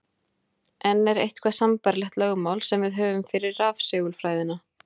En er eitthvert sambærilegt lögmál sem við höfum fyrir rafsegulfræðina?